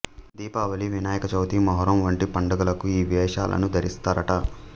దీపావళి వినాయక చవితి మొహరం వంటి పండదలకు ఈ వేషాలను ధరిస్తారట